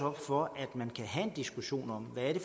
op for at man kan have en diskussion om hvad det